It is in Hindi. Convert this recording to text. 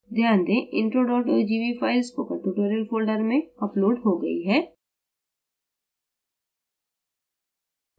ध्यान देंintro ogv फ़ाइल spokentutorial folder में uploaded हो गई है